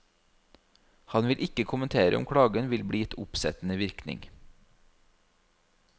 Han vil ikke kommentere om klagen vil bli gitt oppsettende virkning.